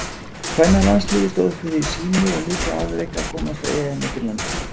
Kvennalandsliðið stóð fyrir sínu og mikið afrek að komast á EM í Finnlandi.